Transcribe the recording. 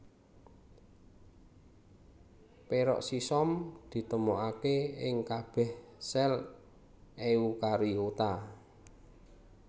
Peroksisom ditemokaké ing kabèh sèl eukariota